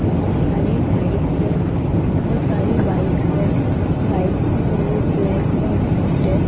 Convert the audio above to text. बहोत सारी लाइटस है बहोत सारी बाइक्स है बाइक्स का कलर ब्लैक और वाइट है।